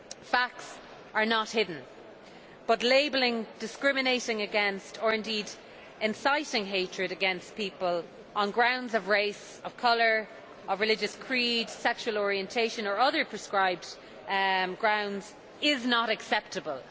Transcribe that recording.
Facts are not hidden. However, labelling, discriminating against, or indeed inciting hatred against people on grounds of race, colour, religious creed, sexual orientation, or other proscribed grounds, is not acceptable.